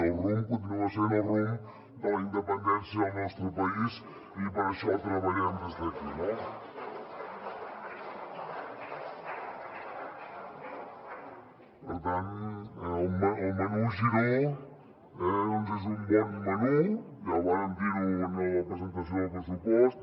el rumb continua sent el rumb de la independència del nostre país i per això treballem des d’aquí no per tant el menú giró eh doncs és un bon menú ja vàrem dir ho en la presentació del pressupost